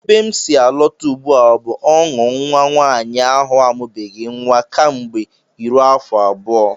Ebe m si alọta ugbu a bụ ọṅụ nnwa nwaanyị ahụ amụbeghị nnwa kemgbe iro afọ abụọ